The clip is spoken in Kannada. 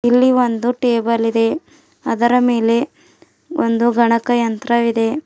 ಇಲ್ಲಿ ಒಂದು ಟೇಬಲ್ ಇದೆ ಅದರ ಮೇಲೆ ಅದರ ಮೇಲೆ ಗಣಕಯಂತ್ರವಿದೆ.